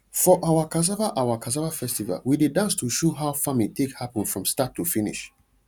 for our cassava our cassava festival we dey dance to show how farming take happen from start to finish